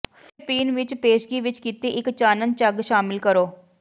ਫਿਰ ਪੀਣ ਵਿਚ ਪੇਸ਼ਗੀ ਵਿੱਚ ਕੀਤੀ ਇੱਕ ਚਾਨਣ ਝੱਗ ਸ਼ਾਮਿਲ ਕਰੋ